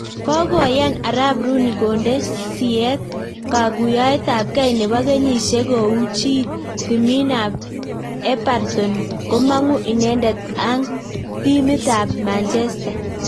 Kakoyan arap ruuni konde siyet kakuoyet ab kei neboo kenyisiek kouchii timiit ab eparton komang'uu inendet ang timit ab manjesta